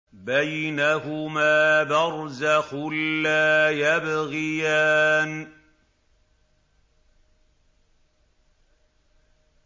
بَيْنَهُمَا بَرْزَخٌ لَّا يَبْغِيَانِ